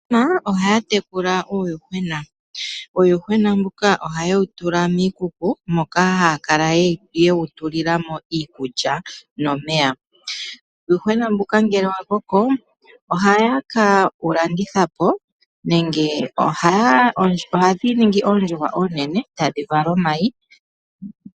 Aantu ohaya tekula uuyuhwena. Uuyuhwena mbuka ohaye wu tula miikuku moka haya kala ye wu tulila mo iikulya nomeya. Uuyuhwena mbuka ngele wa koko ohaye kewu landithapo nenge ohadhi ningi oondjuhwa oonene, e tadhi vala omayi.